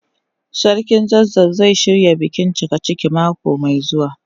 Sarkin zazzau zai shirya bikin cikaciki mako mai zuwa.